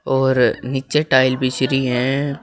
और नीचे टाइल बिछरी हैं।